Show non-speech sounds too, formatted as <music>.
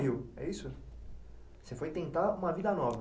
<unintelligible> Você foi tentar uma vida nova.